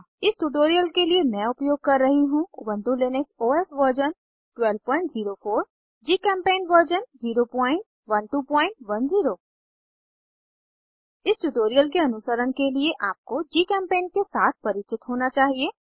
इस ट्यूटोरियल के लिए मैं उपयोग कर रही हूँ Ubuntu Linux OS version 1204 GChemPaint version 01210 इस ट्यूटोरियल के अनुसरण के लिए आपको जीचेम्पेंट के साथ परिचित होना चाहिए